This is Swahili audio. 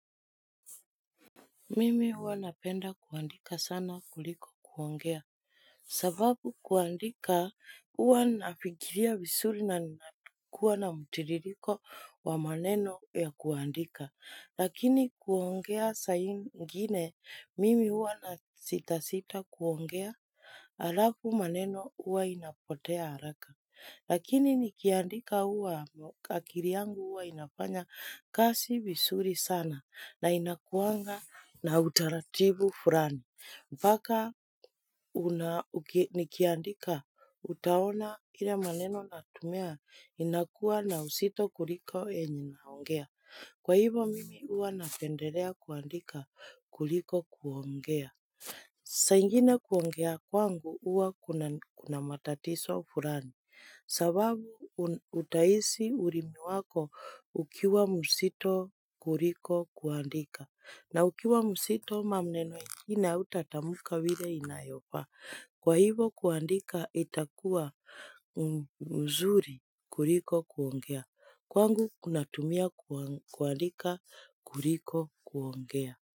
Mimi hua napenda kuandika sana kuliko kuongea. Sababu kuandika hua nafikiria vizuri na ninakuwa na mtiririko wa maneno ya kuandika. Lakini kuongea saa ingine mimi hua nasita sita kuongea alafu maneno hua inapotea haraka. Lakini nikiandika huwa, akili yangu huwa inafanya kazi visuri sana na inakuanga na utaratibu fulani. Mpaka nikiandika, utaona kila maneno natumia inakuwa na uzito kuliko yenye naongea. Kwa hivo mimi huwa napendelea kuandika kuliko kuongea. Saa ingine kuongea kwangu huwa kuna matatizo fulani. Sababu utahisi ulimi wako ukiwa mzito kuliko kuandika. Na ukiwa mzito maneno ingine hautatamka vile inayofaa. Kwa hivo kuandika itakuwa mzuri kuliko kuongea. Kwangu kunatumia kuandika kuliko kuongea.